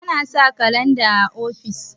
ana sa kalanda o ofis